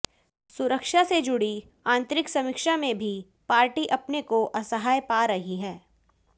सुरक्षा से जुड़ी आंतरिक समीक्षा में भी पार्टी अपने को असहाय पा रही है